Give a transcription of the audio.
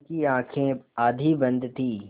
उनकी आँखें आधी बंद थीं